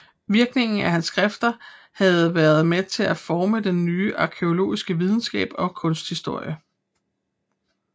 Virkningen af hans skrifter havde været med til at forme den nye arkæologiske videnskab og kunsthistorie